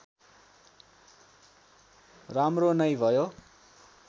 राम्रो नै भयो